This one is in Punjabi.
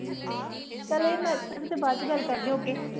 ਚੱਲ ਬਾਅਦ ਚ ਗੱਲ ਕਰਦੇ ਹਾਂ okay